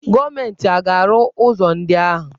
Gọọmenti a ga-arụ ụzọ ndị ahụ?